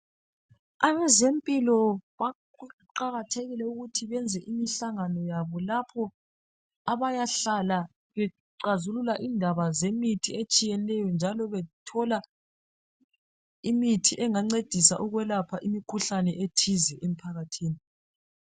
Abezempilo kuqakathekile ukuthi benze imihlangano yabo lapho abayahlala bexhazulula indaba zemithi etshiyeneyo njalo bethole imithi engancedisa ukwelapha imikhuhlane ethize emphakathini .